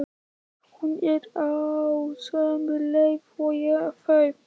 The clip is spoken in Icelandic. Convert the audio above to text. Hún er á sömu leið og þau.